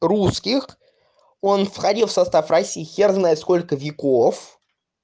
русских он входил в состав россии хер знает сколько веков